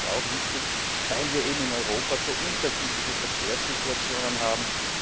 Das ist auch wichtig, weil wir in Europa eben so unterschiedliche Verkehrssituationen haben.